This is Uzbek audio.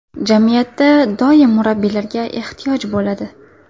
Jamiyatda doim murabbiylarga ehtiyoj bo‘ladi.